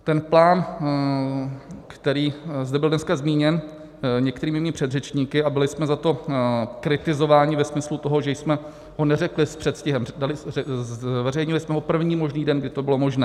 Ten plán, který zde byl dneska zmíněn některými mými předřečníky, a byli jsme za to kritizováni ve smyslu toho, že jsme ho neřekli s předstihem - zveřejnili jsme ho první možný den, kdy to bylo možné.